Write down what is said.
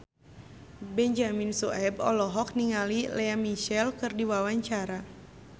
Benyamin Sueb olohok ningali Lea Michele keur diwawancara